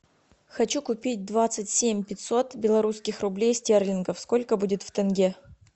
хочу купить двадцать семь пятьсот белорусских рублей стерлингов сколько будет в тенге